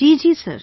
Ji Sir